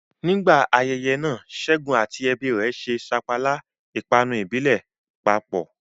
Nígbà ayẹyẹ náà, Ṣẹ́gun àti ẹbí rẹ̀ ṣe sapala, ìpanu ìbílẹ̀, papọ̀.